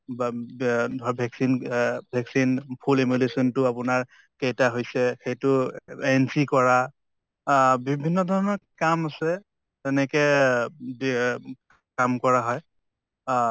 বা ব্য়া ধৰা vaccine আহ vaccine full তো আপোনাৰ কেইটা হৈছে সেইটো entry কৰা আহ বিভিন্ন ধৰণৰ কাম আছে যেনেকে ব্য়ে কাম কৰা হয় আহ